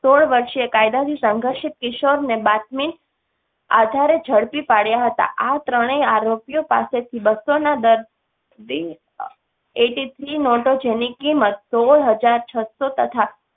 સોડ વર્ષે કાયદા થી સંઘર્ષિત કિશોર ને બાતમી આધારે ઝડપી પાડયા હતા. આ ત્રણેય આરોપીઓ પાસેથી બસો ના દર. એ થ્રી મોટો જેની કીમત સોળ હજાર છસો તથા